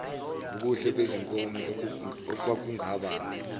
ngubuhle bezinkomo okwakungaba